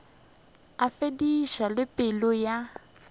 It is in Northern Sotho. a feditše le pelo ya